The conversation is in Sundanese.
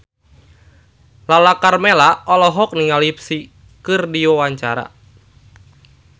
Lala Karmela olohok ningali Psy keur diwawancara